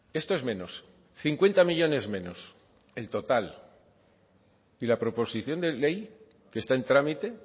esto es menos cincuenta millónes menos el total y la proposición de ley que está en trámite